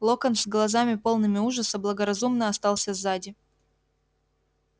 локонс с глазами полными ужаса благоразумно остался сзади